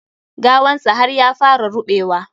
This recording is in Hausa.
Gawan sa har ya fara ruɓewa.